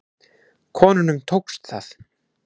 Konunum tókst það.